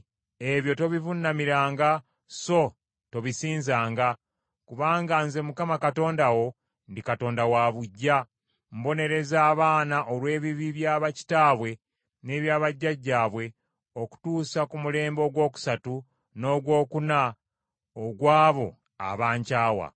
Ebyo tobivuunamiranga so tobisinzanga. Kubanga Nze Mukama Katonda wo ndi Katonda wa buggya; mbonereza abaana olw’ebibi bya bakitaabwe n’ebya bajjajjaabwe okutuusa ku mulembe ogwokusatu n’ogwokuna ogw’abo abankyawa.